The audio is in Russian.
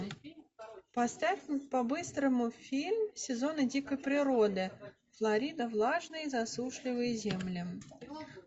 поставь по быстрому фильм сезоны дикой природы флорида влажные и засушливые земли